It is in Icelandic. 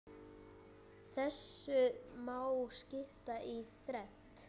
Þessu má skipta í þrennt.